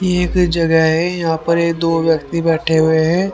ये एक जगह है यहां पे दो व्यक्ति बैठे हुए हैं।